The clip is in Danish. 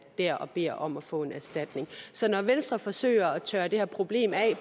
dér og beder om at få en erstatning så når venstre forsøger at tørre det her problem af